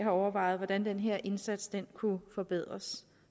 overvejet hvordan den her indsats kunne forbedres